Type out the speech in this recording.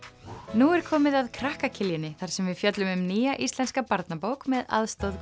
nú er komið að krakka þar sem við fjöllum um nýja íslenska barnabók með aðstoð